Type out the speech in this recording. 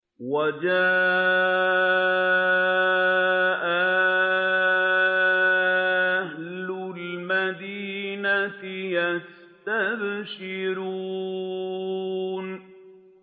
وَجَاءَ أَهْلُ الْمَدِينَةِ يَسْتَبْشِرُونَ